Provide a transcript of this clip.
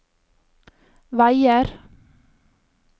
veier